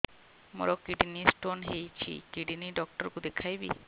ମୋର kidney stone ହେଇଛି kidney doctor କୁ ଦେଖାଇବି